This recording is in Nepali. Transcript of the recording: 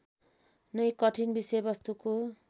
नै कठिन विषयवस्तुको